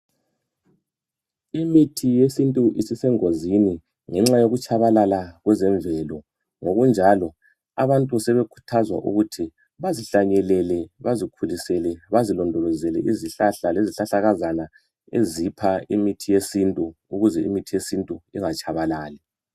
imithi yesintu isisengozini ngenxa yokutshabalala kwezemvelo ngokunjalo abantu sebekhuthazwa ukuthi bazihlanyelele, bazikhulisele bazilondolozele izihlahla lezihahlakazana ezipha imithi yesintu ukuze imithi yesintu ingatshabalali.